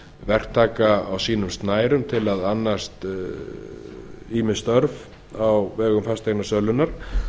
verktaka á sínum snærum til að annast ýmis störf á vegum fasteignasölunnar